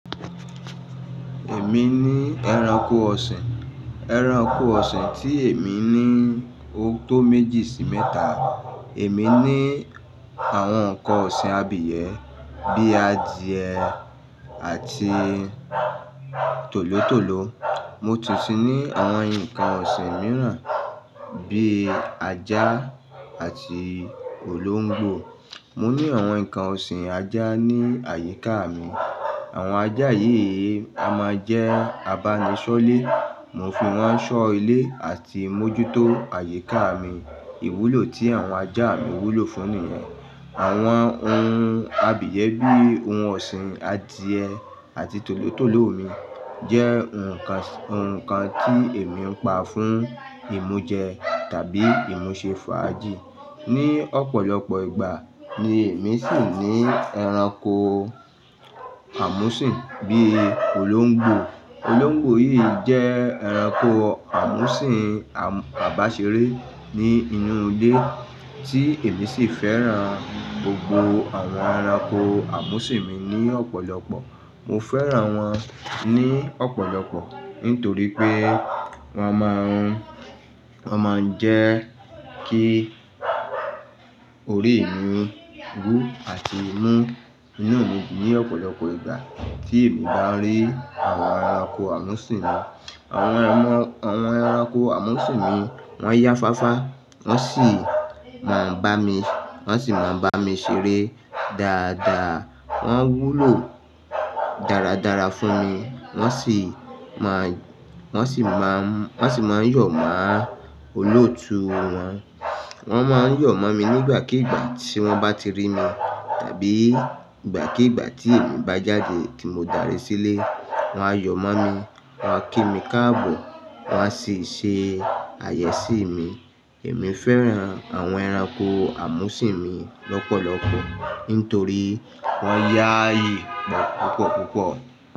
Èmi ní ẹranko ọ̀sìn. Ẹranko ọ̀sìn tí èmi ní ó tó méjì sí mẹ́ta. Èmi ní àwọn nǹkan ọ̀sìn abìyẹ́ bíi adìẹ àti tòlótòló. Mo tún sì ní àwọn nǹkan ọ̀sìn mìíràn bíi ajá àti olóńgbò. Mo ní àwọn nǹkan ọ̀sìn ajá ní àyíká mi. Àwọn ajá yìí a máa jẹ́ abánisọ́lé. Mo fi wọ́n ṣọ́ ilé àti mójútó àyíká mi. Ìwúlò tí àwọn ajá mi wúlò fún ni yen Àwọn ohun abìyẹ́ bíi ohun ọ̀sìn adìẹ àti tòlótòló mi jẹ́ nǹkan, nǹkan tí èmi ń pa fún ìmú jẹ tàbí ìmú ṣe fàájì. Ni ọ̀pọ̀lọpọ̀ ìgbà ni èmi sì ní ẹranko àmúsìn bíi olóńgbò. Olóńgbò yìí jẹ́ ẹranko àmúsìn àbàṣeré ní inú ilé tí èmi sì fẹ́ràn gbogbo àwọn ẹranko àmúsìn mi ni ọ̀pọ̀lọpọ̀. Mo fẹ́ràn wọ́n ní ọ̀pọ̀lọpọ̀ nítorí pé wọ́n máa ń, wọ́n máa ń jẹ́ kí orí mi wú àti mú. Inu mi dun ni ọ̀pọ̀lọpọ̀ ìgbà tí èmi bá ń rí àwọn ẹranko àmúsìn mi. Àwọn ẹmọ-- àwọn ẹranko àmúsìn mi wọ́n jáfáfá, wọ́n sì máa ń bá mi, wọ́n sì máa ń bá mi ṣeré dáadáa. Wọ́n wúlò dáradára fún mi. Wọ́n sì máa ń, wọ́n sì máa ń, wọ́n sì máa ń yọ̀ máa olóòtú wọn. Wọ́n máa ń yọ̀ máa mi nígbàkígbà tí wọ́n bá ti rí mi tàbí ìgbàkígbà tí èmi bá jáde tí mo darí sílé. Wọ́n á yọ̀ máa mi, wọ́n á kí mi káàbọ̀, wọ́n á sì ṣe àyeè sí mi. Èmi fẹ́ràn àwọn ẹranko àmúsìn mi lọ́pọ̀lọpọ̀ nítorí wọ́n yá ìpọ̀ púpọ̀púpọ̀.